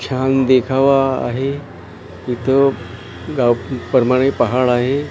छान देखावा आहे. तिथं गाव पहाड आहे.